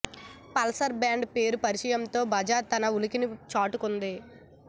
Pulsar brand పేరు పరిచయంతో బజాజ్ తన ఉనికిని చాటుకుంది